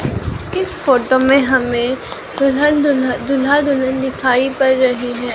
इस फोटो में हमें दुल्हन दूल्हा दूल्हा-दुल्हिन दिखाई पर रहे हैं।